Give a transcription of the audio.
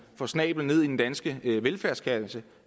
får snablen ned i den danske velfærdskasse